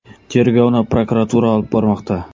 Tergovni prokuratura olib bormoqda.